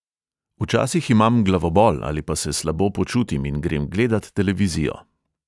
Včasih imam glavobol ali pa se slabo počutim in grem gledat televizijo ...